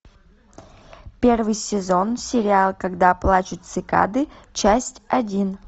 первый сезон сериал когда плачут цикады часть один